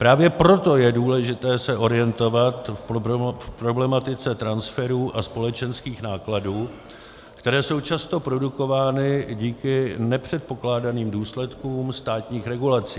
Právě proto je důležité se orientovat v problematice transferu a společenských nákladů, kterou jsou často produkovány díky nepředpokládaným důsledkům státních regulací.